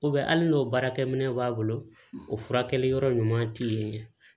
hali n'o baarakɛ minɛnw b'a bolo o furakɛli yɔrɔ ɲuman tɛ ye